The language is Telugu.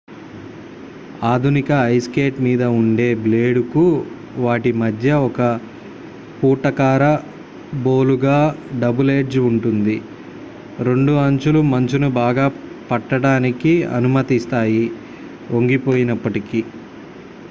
ఆధునిక ఐస్ స్కేట్ మీద ఉండే బ్లేడ్ కు వాటి మధ్య ఒక పుటాకార బోలుగా డబుల్ ఎడ్జ్ ఉంటుంది రెండు అంచులు మంచును బాగా పట్టడానికి అనుమతిస్తాయి వంగిపోయినప్పటికీ